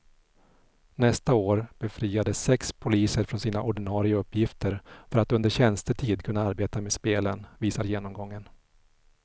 Nästa år befriades sex poliser från sina ordinarie uppgifter för att under tjänstetid kunna arbeta med spelen, visar genomgången.